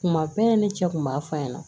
Kuma bɛɛ ne cɛ kun b'a f'a ɲɛna